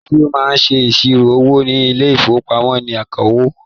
Ẹnití ó máa ń ṣe iṣiro owó ní ile-ìfowópamó ní akawó